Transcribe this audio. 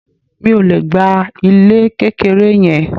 Mi ò le gba ilé kékeré yẹn.